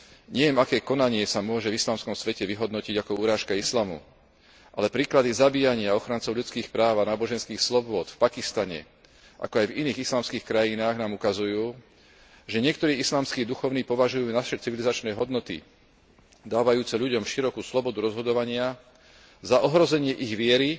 Neviem, aké konanie sa môže v islamskom svete vyhodnotiť ako urážka islamu, ale príklady zabíjania ochrancov ľudských práv a náboženských slobôd v Pakistane, ako aj v iných islamských krajinách nám ukazujú, že niektorí islamskí duchovní považujú naše civilizačné hodnoty, ktoré dávajú ľuďom širokú slobodu rozhodovania, za ohrozenie ich viery